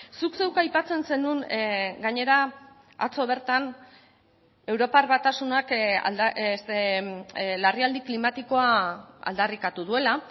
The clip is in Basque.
zuk zeuk aipatzen zenuen gainera atzo bertan europar batasunak larrialdi klimatikoa aldarrikatu duela